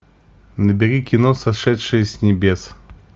набери кино сошедшие с небес